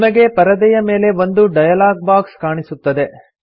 ನಿಮಗೆ ಪರದೆಯ ಮೇಲೆ ಒಂದು ಡಯಲಾಗ್ ಬಾಕ್ಸ್ ಕಾಣಸಿಗುತ್ತದೆ